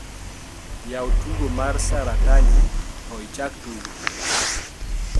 yaw tugo mar sataranji to ichak tugo